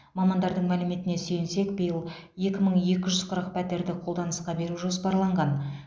мамандардың мәліметіне сүйенсек биыл екі мың екі жүз қырық пәтерді қолданысқа беру жоспарланған